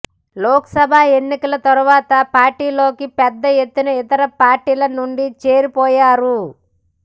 లోక్ సభ ఎన్నికల తరువాత పార్టీలోకి పెద్ద ఎత్తున ఇతర పార్టీల నుండి చేరిపోయారు